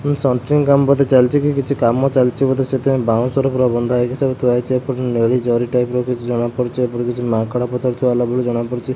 Centering କାମ ବୋଧେ ଚାଲିଚି କି କିଛି କାମ ଚାଲିଚି ବୋଧେ ସେଥିପାଇଁ ବାଉଁଶର ପୁରା ବନ୍ଧା ହେଇକି ସବୁ ଥୁଆ ହେଇଚି। ଏପଟେ ନେଲି ଜରି ଟାଇପ୍ ର କିଛି ଜଣାପଡୁଚି। ଏପଟେ କିଛି ମାଙ୍କଡା ପଥର ଥୁଆ ହେଲା ପରି ଜଣା ପଡ଼ୁଚି।